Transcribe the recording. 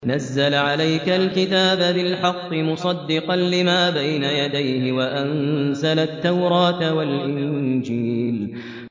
نَزَّلَ عَلَيْكَ الْكِتَابَ بِالْحَقِّ مُصَدِّقًا لِّمَا بَيْنَ يَدَيْهِ وَأَنزَلَ التَّوْرَاةَ وَالْإِنجِيلَ